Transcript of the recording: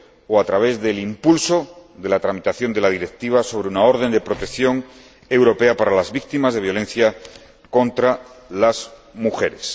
o a través del impulso de la tramitación de la Directiva sobre una orden de protección europea para las víctimas de violencia contra las mujeres.